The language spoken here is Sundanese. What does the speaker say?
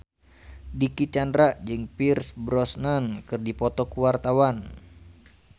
Dicky Chandra jeung Pierce Brosnan keur dipoto ku wartawan